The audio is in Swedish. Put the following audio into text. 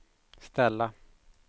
ställa